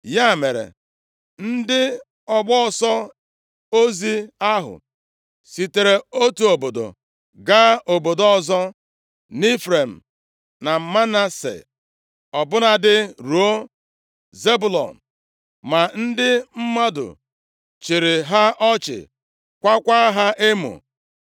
Ya mere, ndị ọgbọ ọsọ ozi ahụ sitere otu obodo gaa obodo ọzọ nʼIfrem, na Manase, ọ bụladị ruo Zebụlọn. Ma ndị mmadụ chịrị ha ọchị, kwaakwa ha emo.